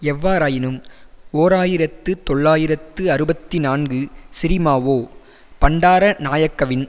எவ்வாறாயினும் ஓர் ஆயிரத்து தொள்ளாயிரத்து அறுபத்தி நான்கு சிறிமாவோ பண்டாரநாயக்கவின்